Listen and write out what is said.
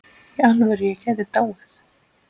Í alvöru, ég gæti dáið.